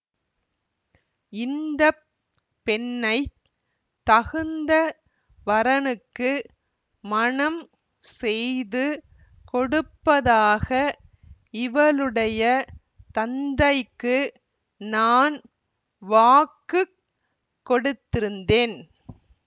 இந்த பெண்ணை தகுந்த வரனுக்கு மணம் செய்து கொடுப்பதாக இவளுடைய தந்தைக்கு நான் வாக்கு கொடுத்திருந்தேன்